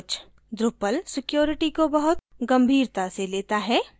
drupal security को बहुत गंभीरता से लेता है